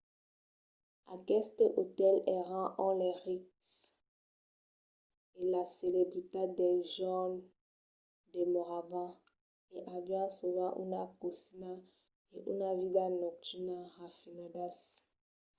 aquestes otèls èran ont los rics e las celebritats del jorn demoravan e avián sovent una cosina e una vida nocturna rafinadas